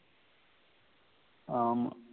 ஆமா